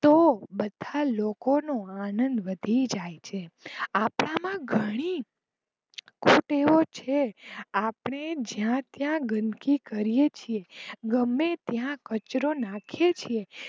તો બધા લોકો નો આનંદ વધી જાય છે. આપણા માં ઘણી કુટેવો છે. આપણે જ્યાં ત્યાં ગંદકી કરીયે છીએ. ગમે ત્યાં કચરો નાખીયે છીએ.